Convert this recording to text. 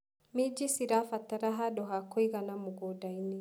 Minji cirabatara handũ ha kũigana mũgundainĩ.